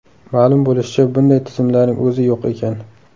Ma’lum bo‘lishicha, bunday tizimlarning o‘zi yo‘q ekan!